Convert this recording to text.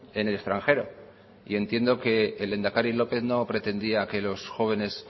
en el extranjero y entiendo que el lehendakari lópez no pretendía que los jóvenes